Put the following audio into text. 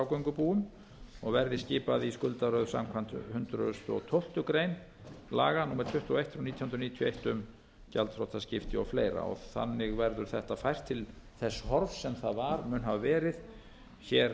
og skuldafrágöngubúum og verði skipað í skuldaröð samkvæmt hundrað og tólftu grein laga númer tuttugu og eitt nítján hundruð níutíu og eitt um gjaldþrotaskipti og fleiri þannig verður þetta fært til þess horfs sem það var mun hafa verið hér